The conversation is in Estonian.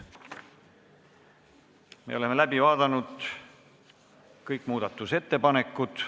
Me oleme läbi vaadanud kõik muudatusettepanekud.